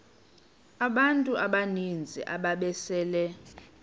abantu abaninzi ababesele